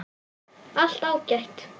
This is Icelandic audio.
Allt ágætt.